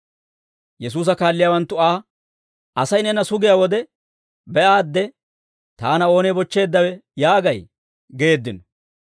Yesuusa kaalliyaawanttu Aa, «Asay neena sugiyaa wode be'aadde, ‹Taana oonee bochcheeddawe?› yaagay?» geeddino.